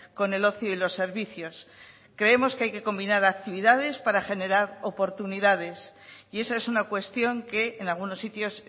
con el ocio y los servicios creemos que hay que combinar actividades para generar oportunidades y esa es una cuestión que en algunos sitios